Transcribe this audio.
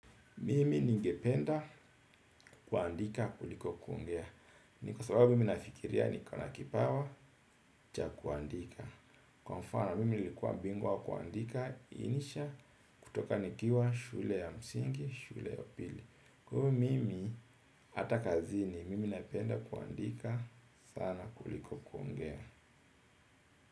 Mimi ningependa kuandika kuliko kungea. Ni kwa sababu mi nafikiria niko na kipawa cha kuandika. Kwa mfano, mimi nikuwa bingwa kuandika insha kutoka nikiwa shule ya msingi, shule ya pili. Kwaiyo, mimi hata kazini mimi napenda kuandika sana kuliko kuongea.